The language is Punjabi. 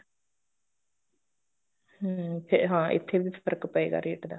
ਹਮ ਫੇਰ ਹਾਂ ਇੱਥੇ ਵੀ ਫਰਕ਼ ਪਏਗਾ rate ਦਾ